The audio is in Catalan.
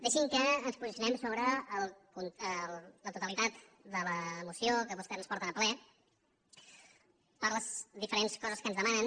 deixi’m que ens posicionem sobre la totalitat de la moció que vostès ens porten al ple per les diferents coses que ens demanen